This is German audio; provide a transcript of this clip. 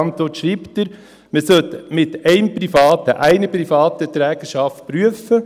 In der Antwort schreibt er, man sollte die Zusammenarbeit mit einer privaten Trägerschaft prüfen.